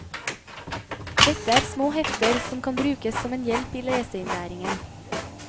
Dette er små hefter som kan brukes som en hjelp i leseinnlæringen.